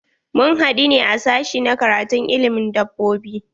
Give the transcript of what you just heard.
Mun haɗu ne a sashi na karatun ilimin dabbobi.